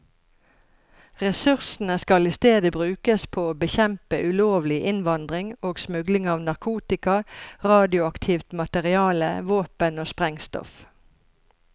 Ressursene skal i stedet brukes på å bekjempe ulovlig innvandring og smugling av narkotika, radioaktivt materiale, våpen og sprengstoff.